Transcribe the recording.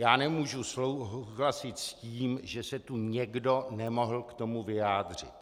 Já nemůžu souhlasit s tím, že se tu někdo nemohl k tomu vyjádřit.